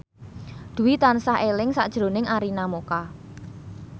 Dwi tansah eling sakjroning Arina Mocca